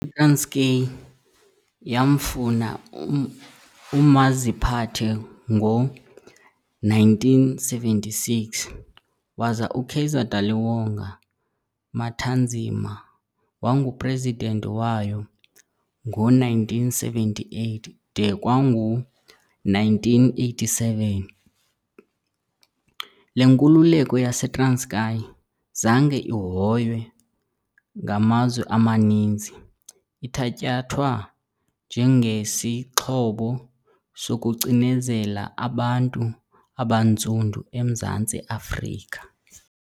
ITranskei yamfuna umaziphathe ngo-1976, waza uKaizer Daliwonga Mathanzima wangu-president wayo ngo1978 de kwangu1987. Le nkululeko yaseTranskei zange ihoywe ngamazwe amaninzi, ithatyathwa njengesixhobo sokucinezela abantu abantsundu emZantsi Afrika.